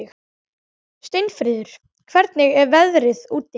Steinfríður, hvernig er veðrið úti?